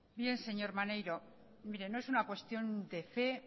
bien señor maneiro mire no es una cuestión de fe